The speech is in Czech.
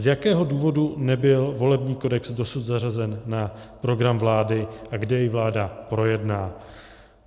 Z jakého důvodu nebyl volební kodex dosud zařazen na program vlády a kdy jej vláda projedná?